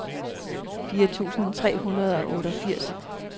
fire tusind tre hundrede og otteogfirs